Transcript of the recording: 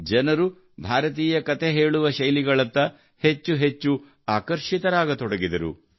ಜನರು ಭಾರತೀಯ ಕತೆ ಹೇಳುವ ಶೈಲಿಗಳತ್ತ ಹೆಚ್ಚು ಹೆಚ್ಚು ಆಕರ್ಷಿತರಾಗತೊಡಗಿದರು